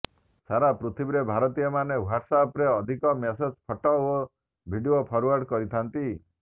ସାରା ପୃଥିବୀରେ ଭାରତୀୟମାନେ ହ୍ୱାଟସ ଆପ୍ରେ ଅଧିକ ମେସେଜ ଫଟୋ ଓ ଭିଡିଓ ଫରଓ୍ୱାର୍ଡ କରିଥାନ୍ତି